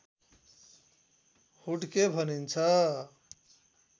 हुड्के भनिन्छ